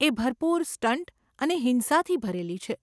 એ ભરપૂર સ્ટંટ અને હિંસાથી ભરેલી છે.